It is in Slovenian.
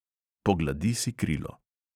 Pogladi si krilo.